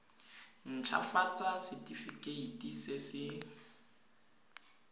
nt hafatsa setefikeiti se se